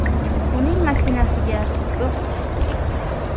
Uning mashinasiga o‘q tushdi.